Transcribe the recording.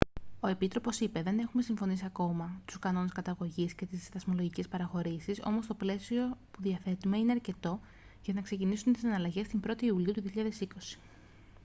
ο επίτροπος είπε: «δεν έχουμε συμφωνήσει ακόμη τους κανόνες καταγωγής και τις δασμολογικές παραχωρήσεις όμως το πλαίσιο που διαθέτουμε είναι αρκετό για να ξεκινήσουν οι συναλλαγές την 1η ιουλίου 2020»